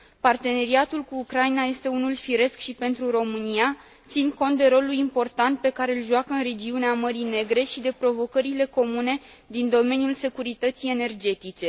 Parteneriatul cu Ucraina este unul firesc și pentru România, ținând cont de rolul important pe care îl joacă în regiunea Mării Negre și de provocările comune din domeniul securității energetice.